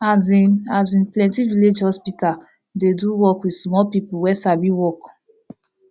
asin asin plenti village hospital dey do work with small people wey sabi work